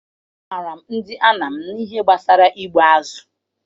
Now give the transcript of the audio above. Amaara ndị Anam n'ihe gbasara igbu azụ.